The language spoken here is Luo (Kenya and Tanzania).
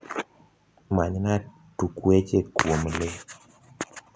manyna tukweche kuom le